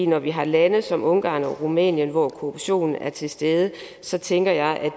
når vi har lande som ungarn og rumænien hvor korruption er til stede så tænker jeg at